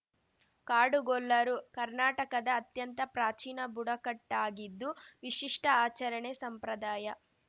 ಕಾಡುಗೊಲ್ಲರು ಕರ್ನಾಟಕದ ಅತ್ಯಂತ ಪ್ರಾಚೀನ ಬುಡಕಟ್ಟಾಗಿದ್ದು ವಿಶಿಷ್ಟಆಚರಣೆ ಸಂಪ್ರದಾಯ